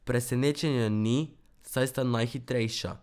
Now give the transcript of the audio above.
Presenečenja ni, saj sta najhitrejša.